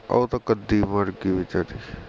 ਉਹ ਤਾਂ ਕਦੀ ਮਰ ਗਈ ਬੇਚਾਰੀ